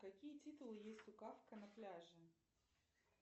какие титулы есть у кафка на пляже